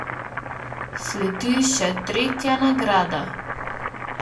Sledi še tretja nagrada!